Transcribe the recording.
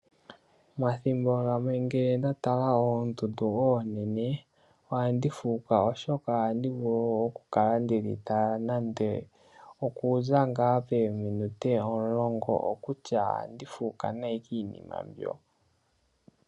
Omathimbo gamwe nge ndatala oondundu onene, ohandi fuuka oshoka ohandi vulu okukala ndedhitala nande okuza ngaa pominute omulongo. Okulya ohandi fuuka nayi kiinima mbyo.